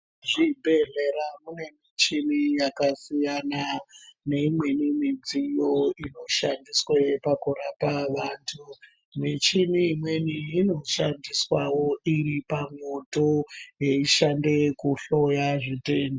zvibhedhlera mune michini yakasiyana neimweni midziyo inoshandiswa pakurapa antu michini imweni inoshandiswawo iripa moto yeishanda kuhloya zvitenda.